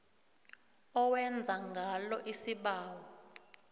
owenza ngalo isibawo